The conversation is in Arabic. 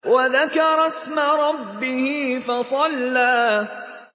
وَذَكَرَ اسْمَ رَبِّهِ فَصَلَّىٰ